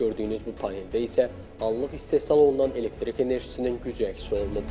Gördüyünüz bu paneldə isə anlıq istehsal olunan elektrik enerjisinin gücü əks olunub.